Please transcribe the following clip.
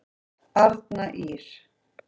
Arna Ýrr.